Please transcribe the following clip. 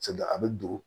a bɛ don